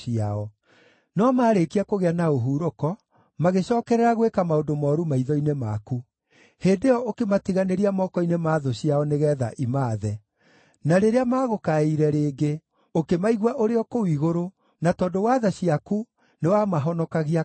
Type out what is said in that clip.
“No maarĩkia kũgĩa na ũhurũko, magĩcookerera gwĩka maũndũ mooru maitho-inĩ maku. Hĩndĩ ĩyo ũkĩmatiganĩria moko-inĩ ma thũ ciao nĩgeetha imaathe. Na rĩrĩa maagũkaĩire rĩngĩ, ũkĩmaigua ũrĩ o kũu igũrũ, na tondũ wa tha ciaku nĩwamahonokagia kaingĩ.